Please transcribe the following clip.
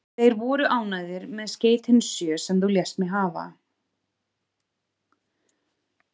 Þeir voru ánægðir með skeytin sjö, sem þú lést mig hafa.